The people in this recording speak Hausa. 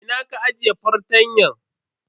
Ina ka ajiye fartanyan?